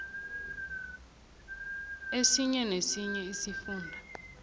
esinye nesinye isifunda